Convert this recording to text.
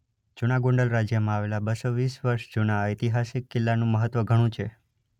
જુના ગોંડલ રાજયમાં આવેલા બસો વીસ વર્ષ જુના આ ઐતિહાસિક કિલ્લાનું મહત્વ ધણું છે.ઘ